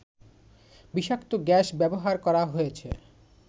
বিষাক্ত গ্যাস ব্যবহার করা হয়েছে